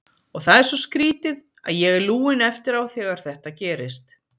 Og það er svo skrítið, að ég er lúinn eftir á þegar þetta gerist.